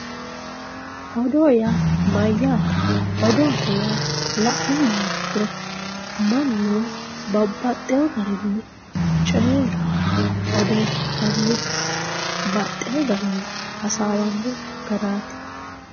Oodo ya mayate oddo yaa lanumoha ikiro manu babaxewo garinni coye odefatanni baxewo garinni hasawanno garati